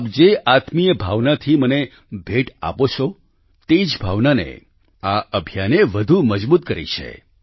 આપ જે આત્મિય ભાવનાથી મને ભેટ આપો છો તે જ ભાવનાને આ અભિયાને વધુ મજબૂત કરી છે